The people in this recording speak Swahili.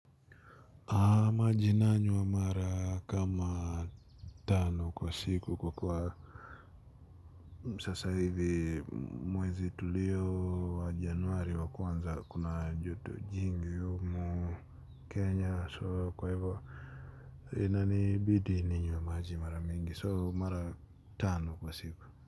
Maji nanywa mara kama tano kwa siku kwa kuwa sasa hivi mwezi tulio wa januari wa kwanza kuna joto jingi humu kenya so kwa hivyo inanibidi ninywe maji mara mingi so mara tano kwa siku.